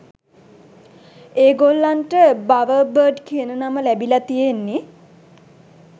ඒගොල්ලන්ට "බවර්බර්ඩ්" කියන නම ලැබිල තියෙන්නෙ